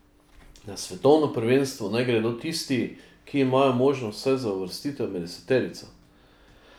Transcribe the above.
Na svetovno prvenstvo naj gredo tisti, ki imajo možnost vsaj za uvrstitev med deseterico.